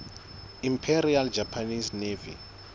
imperial japanese navy